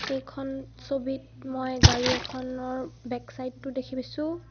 এইখন ছবিত মই গাড়ী এখনৰ বেক চাইড টো দেখি পাইছোঁ।